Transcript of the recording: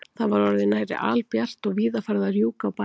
Það var orðið nærri albjart og víða farið að rjúka á bæjum.